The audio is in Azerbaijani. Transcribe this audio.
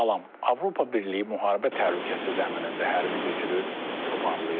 Avropa Birliyi müharibə təhlükəsi zəminində hərbi güclü toparlayır.